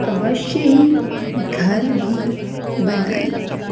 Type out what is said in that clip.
अवश्य ही घर भी बनायी--